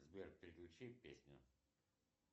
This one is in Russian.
сбер переключи песню